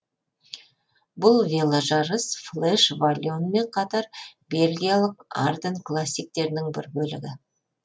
бұл веложарыс флеш валоньмен қатар бельгиялық арденн классиктерінің бір бөлігі